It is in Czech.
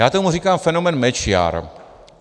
Já tomu říkám fenomén Mečiar.